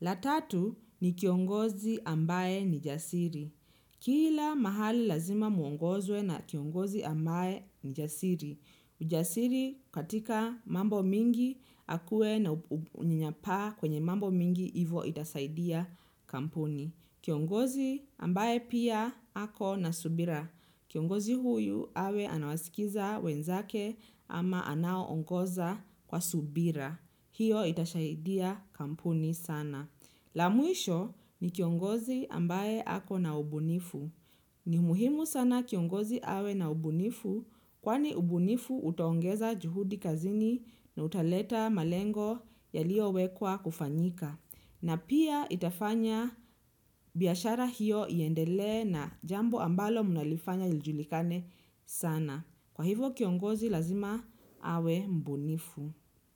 La tatu ni kiongozi ambaye ni jasiri. Kila mahali lazima muongozwe na kiongozi ambaye ni jasiri. Ujasiri katika mambo mingi akuwe na unyanyapaa kwenye mambo mingi ivo itasaidia kampuni. Kiongozi ambaye pia ako na subira. Kiongozi huyu awe anawasikiza wenzake ama anaoongoza kwa subira. Hiyo itasaidia kampuni sana. La mwisho ni kiongozi ambaye ako na ubunifu. Ni muhimu sana kiongozi awe na ubunifu kwani ubunifu utaongeza juhudi kazini na utaleta malengo yalio wekwa kufanyika. Na pia itafanya biashara hiyo iendelee na jambo ambalo mnalifanya lijulikane sana. Kwa hivyo kiongozi lazima awe mbunifu.